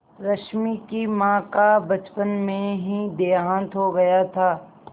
रश्मि की माँ का बचपन में ही देहांत हो गया था